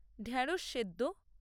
ঢেঁড়স সেদ্দ